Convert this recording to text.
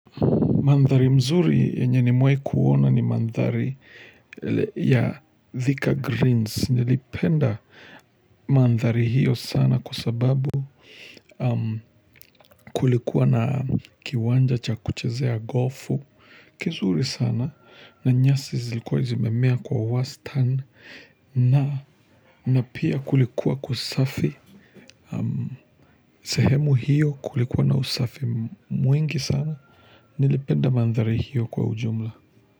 Mandhari mzuri yenya nimewahi kuona ni mandhari ya thika greens nilipenda mandhari hiyo sana kwa sababu kulikuwa na kiwanja cha kuchezea golfu kizuri sana na nyasi zilikuwa zimemea kwa wastani na pia kulikuwa kusafi sehemu hiyo kulikuwa na usafi mwingi sana Nilipenda mandhari hiyo kwa ujumla.